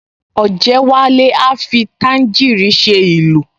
Ọ̀jẹ́wálé a fi tàǹgíìrì ṣe ìlù